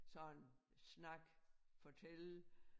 Sådan snakke fortælle